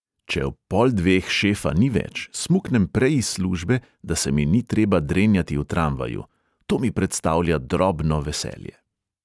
"Če ob pol dveh šefa ni več, smuknem prej iz službe, da se mi ni treba drenjati v tramvaju – to mi predstavlja drobno veselje."